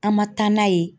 An ma taa n'a ye